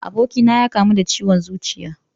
Abokina ya kamu da ciwon zuciya